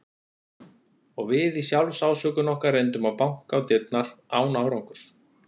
Og við í sjálfsásökun okkar reyndum að banka á dyrnar, án árangurs.